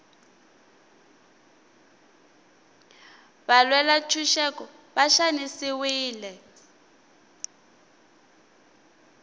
valwela ntshuxeko va xanisiwile